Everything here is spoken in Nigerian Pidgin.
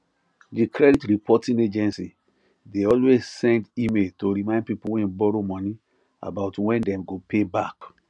the credit reporting agency de always send email to remind people wey borrow money about when dem go pay back